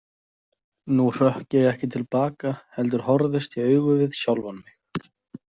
Nú hrökk ég ekki til baka heldur horfðist í augu við sjálfan mig.